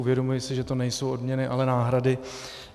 Uvědomuji si, že to nejsou odměny, ale náhrady.